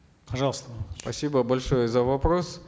пожалуйста спасибо большое за вопрос